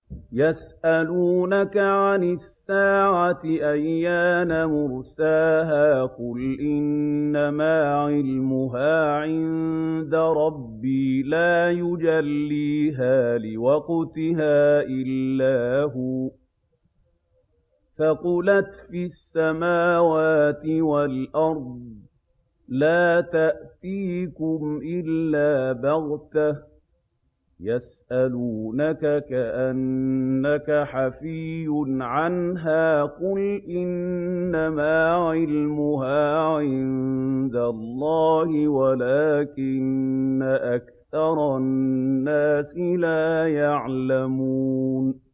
يَسْأَلُونَكَ عَنِ السَّاعَةِ أَيَّانَ مُرْسَاهَا ۖ قُلْ إِنَّمَا عِلْمُهَا عِندَ رَبِّي ۖ لَا يُجَلِّيهَا لِوَقْتِهَا إِلَّا هُوَ ۚ ثَقُلَتْ فِي السَّمَاوَاتِ وَالْأَرْضِ ۚ لَا تَأْتِيكُمْ إِلَّا بَغْتَةً ۗ يَسْأَلُونَكَ كَأَنَّكَ حَفِيٌّ عَنْهَا ۖ قُلْ إِنَّمَا عِلْمُهَا عِندَ اللَّهِ وَلَٰكِنَّ أَكْثَرَ النَّاسِ لَا يَعْلَمُونَ